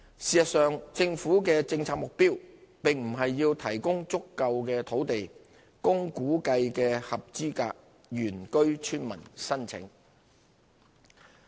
事實上，政府的政策目標並不是要提供足夠的土地供估計的合資格原居村民申請。